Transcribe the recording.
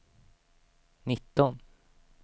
nitton